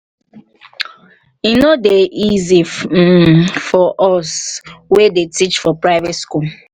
he no dey easy um for us wey dey teach for private school